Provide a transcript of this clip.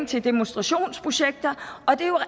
til demonstrationsprojekter og det er jo